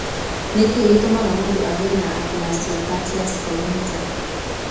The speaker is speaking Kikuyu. Nĩ kĩĩ gĩtũmaga mũndũ agĩe na aplasia cutis congenita?